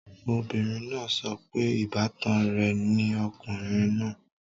Obìnrin náà sọ pé ìbátan rẹ̀ ni ọkùnrin náà